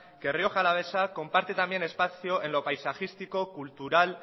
que rioja alavesa comparte también espacio en lo paisajístico cultural